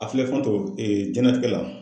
A filɛ fantanw jɛnlatigɛ la.